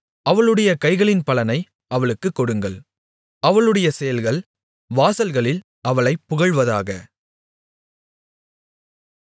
அவளுடைய கைகளின் பலனை அவளுக்குக் கொடுங்கள் அவளுடைய செயல்கள் வாசல்களில் அவளைப் புகழ்வதாக